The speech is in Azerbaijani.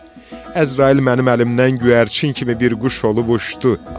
Əzrail mənim əlimdən göyərçin kimi bir quş olub uçdu.